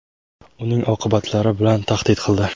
uning oqibatlari bilan tahdid qildi.